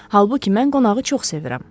Halbuki mən qonağı çox sevirəm.